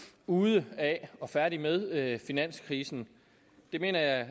ude af og færdige med finanskrisen det mener jeg